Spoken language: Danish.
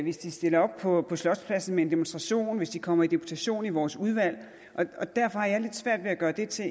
hvis de stiller op på slotspladsen til en demonstration hvis de kommer i deputation i vores udvalg og derfor har jeg lidt svært ved at gøre det til